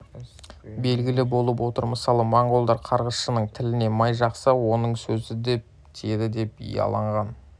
белгілі болып отыр мысалы моңғолдар қарғысшының тіліне май жақса оның сөзі дөп тиеді деп иланған